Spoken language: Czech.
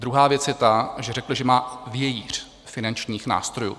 Druhá věc je ta, že řekl, že má vějíř finančních nástrojů.